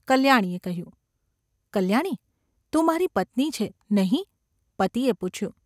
’ કલ્યાણીએ કહ્યું. ‘કલ્યાણી ! તું મારી પત્ની છે, નહિ ?’ પતિએ પૂછ્યું.